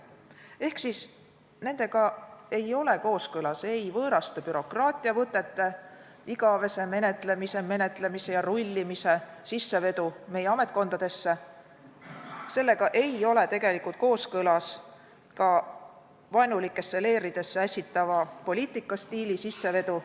Ehk nendega ei ole kooskõlas võõraste bürokraatiavõtete, igavese menetlemise, menetlemise ja rullimise sissevedu meie ametkondadesse, sellega ei ole tegelikult kooskõlas ka vaenulikesse leeridesse ässitava poliitikastiili sissevedu.